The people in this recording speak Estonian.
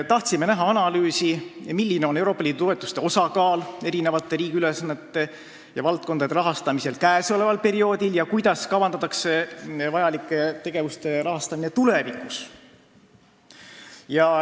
Tahtsime näha analüüsi, milline on Euroopa Liidu toetuste osakaal riigi eri ülesannete ja valdkondade rahastamisel käesoleval perioodil ja kuidas kavandatakse vajalike tegevuste rahastamist tulevikus.